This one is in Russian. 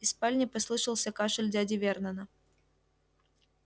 из спальни послышался кашель дяди вернона